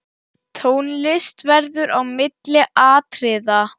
Tónlist verður á milli atriða.